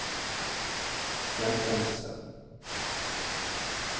hjemsendelse